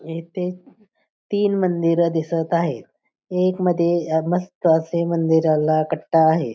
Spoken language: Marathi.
इथे तीन मंदिर दिसत आहेत एक मध्ये मस्त असे मंदीराला कट्टा आहे.